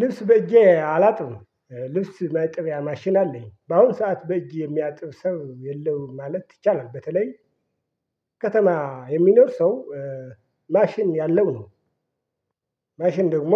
ልብስ በእጄ አላጥብም ልብስ መጠበያ ማሽን አለኝ በአሁን ሰዓት በእጄ የሚያጥብ ሰው የለውም ማለት ይቻላል። በተለይ ከተማ የሚኖር ሰው ማሽን ያለው ነው። ማሽን ደግሞ